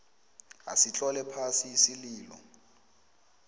asitlole phasi isililo